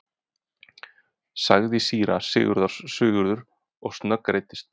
sagði síra Sigurður og snöggreiddist.